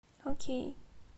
окей